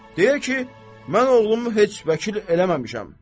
Deyir ki, mən oğlumu heç vəkil eləməmişəm.